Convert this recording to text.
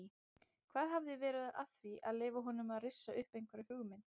Hvað hafi verið að því að leyfa honum að rissa upp einhverja hugmynd?